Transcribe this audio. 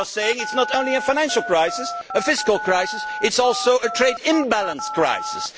They are saying that it is not only a financial crisis a fiscal crisis but also a trade imbalance crisis.